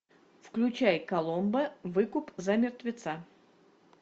включай коломбо выкуп за мертвеца